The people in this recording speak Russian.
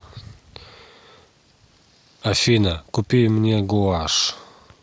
афина купи мне гуашь